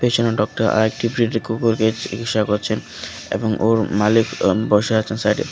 পিছনে ডক্টর আরেকটি প্রিটি কুকুরকে চিকিৎসা করছেন এবং ওর মালিক বসে অ্যা আছেন সাইড এ।